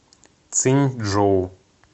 циньчжоу